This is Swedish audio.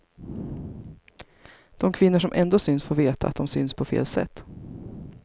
De kvinnor som ändå syns får veta att de syns på fel sätt.